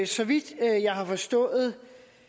så vidt jeg har forstået